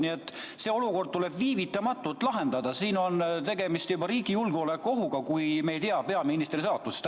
Nii et see olukord tuleb viivitamatult lahendada, siin on tegemist juba riigi julgeolekuohuga, kui me ei tea peaministri saatusest.